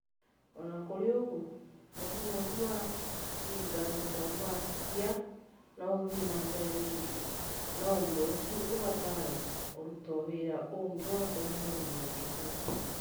O na kũrĩ ũguo, mũrimũ ũcio wa gigantomastia no ũthiĩ na mbere rĩngĩ, na ũndũ ũcio ũbatare kũrutwo wĩra ũngĩ wa kũnyihanyihia gĩthũri .